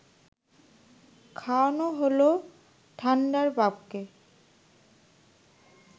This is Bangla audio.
খাওয়ানো হল ঠান্ডার বাপকে